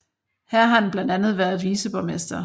Her har han blandt andet været viceborgmester